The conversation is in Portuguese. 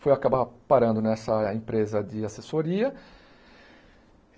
Fui acabar parando nessa empresa de assessoria.